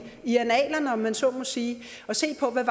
i annalerne om man så må sige og se på hvad